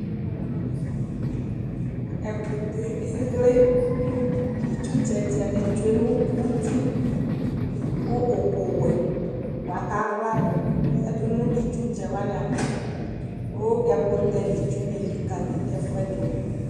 Ɛkʋtɛɛ eɣle : itsutsɛtsɛnɩ tsue nʋ uti ; kʋ ʋkʋwɛ bʋa k'aɣladʋ yǝdʋ nʋ itsutsɛwanɩava Kʋ ɛkʋtɛ n'itsunɩ elikǝli ɛfʋɛdʋ